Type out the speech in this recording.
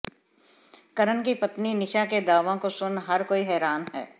करण की पत्नी निशा के दावों को सुन हर कोई हैरान है